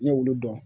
Ne y'olu dɔn